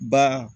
Ba